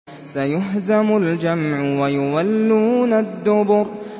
سَيُهْزَمُ الْجَمْعُ وَيُوَلُّونَ الدُّبُرَ